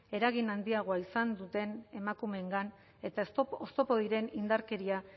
eragin handiagoa izan duten emakumeengan eta oztopo diren indarkeria